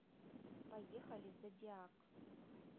поехали зодиак